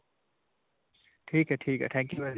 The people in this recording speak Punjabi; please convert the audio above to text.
ਠੀਕ ਹੈ. ਠੀਕ ਹੈ. thank you ਹੈ ਜੀ.